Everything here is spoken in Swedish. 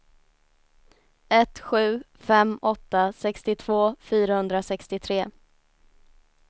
ett sju fem åtta sextiotvå fyrahundrasextiotre